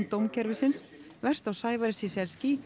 dómskerfisins verst á Sævari